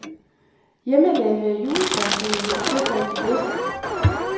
Hjemmelavede juletræsfødder hører til blandt de bedste.